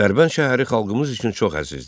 Dərbənd şəhəri xalqımız üçün çox əzizdir.